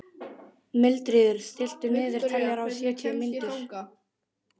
Mildríður, stilltu niðurteljara á sjötíu mínútur.